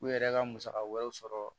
U yɛrɛ ka musaka wɛrɛw sɔrɔ